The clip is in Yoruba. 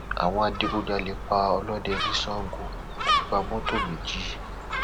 àwọn adigunjalè pa ọlọdẹ ní sango wọn tún gba mọtò méjì